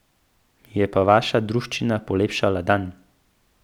Mi je pa vaša druščina polepšala dan.